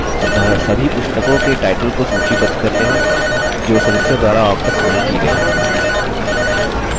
अतः सभी पुस्तकों के टाइटल को सूचीबद्ध करते हैं जो सदस्यों द्वारा वापस नहीं की गई हैं